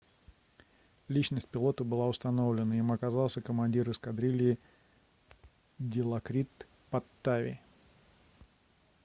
личность пилота была установлена им оказался командир эскадрильи дилокрит паттави